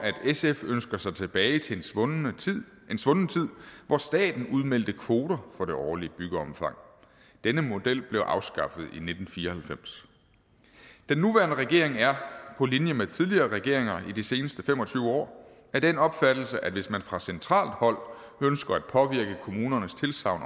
sf ønsker sig tilbage til en svunden tid svunden tid hvor staten udmeldte kvoter for det årlige byggeomfang denne model blev afskaffet i nitten fire og halvfems den nuværende regering er på linje med tidligere regeringer i de seneste fem og tyve år af den opfattelse at hvis man fra centralt hold ønsker at påvirke kommunernes tilsagn